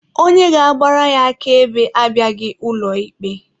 Onye ga-agbara ya akaebe abịaghị n'ụlọ ikpe.